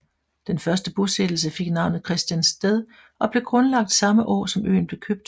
Den første bosættelse fik navnet Christiansted og blev grundlagt samme år som øen blev købt